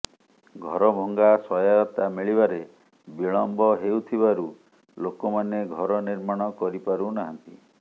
ଘରଭଙ୍ଗା ସହାୟତା ମିଳିବାରେ ବିଳମ୍ବ ହେଉଥିବାରୁ ଲୋକମାନେ ଘର ନିର୍ମାଣ କରିପାରୁନାହାନ୍ତି